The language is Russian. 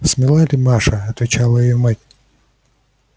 смела ли маша отвечала её мать